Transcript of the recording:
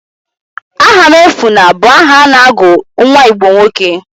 Ahamuefuna bụ aha a na-agụ nwa Igbo nwoke.